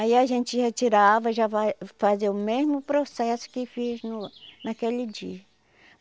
Aí a gente já tirava, já vai fazer o mesmo processo que fiz no naquele dia.